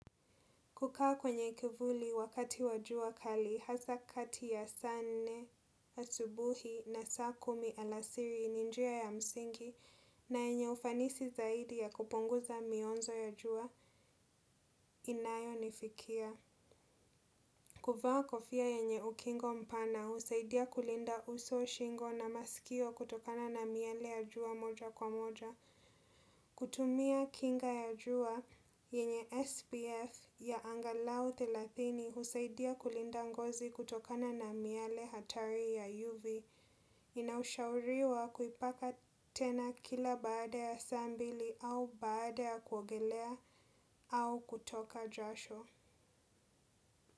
Kukaa kwenye kivuli wakati wa jua kali hasa kati ya saa nne asubuhi na saa kumi alasiri ni njia ya msingi na enye ufanisi zaidi ya kupunguza mionzo ya jua inayo nifikia. Kuvaa kofia yenye ukingo mpana husaidia kulinda uso shingo na masikio kutokana na miale ya jua moja kwa moja. Kutumia kinga ya jua yenye SPF ya angalao thelathini husaidia kulinda ngozi kutokana na miale hatari ya UV. Inaushauriwa kuipaka tena kila baada ya saa mbili au baada ya kuogelea au kutoka jasho.